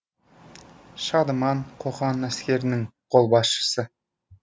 шадыман қоқан әскерінің қолбасшысы